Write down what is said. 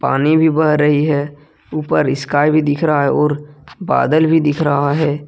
पानी भी बह रही है ऊपर स्काई भी दिख रहा है और बादल भी दिख रहा है।